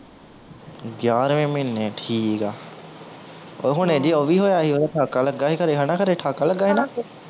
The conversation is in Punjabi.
ਗਿਆਰਵੇਂ ਮਹੀਨੇ ਠੀਕ ਆ ਹੁਣੇ ਜਿਹੇ ਓਹ ਵੀ ਹੋਇਆ ਸੀ ਓਹਦਾ ਠਾਕਾ ਲੱਗਾ ਸੀ ਖਰੇ ਹਣਾ ਖਰੇ ਠਾਕਾ ਲੱਗਾ ਸੀ ਨਾ